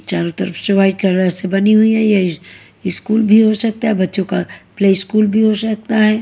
चारों तरफ से व्हाइट कलर से बनी हुई है। ये स्कूल भी हो सकता है। बच्चों का प्ले स्कूल भी हो सकता है।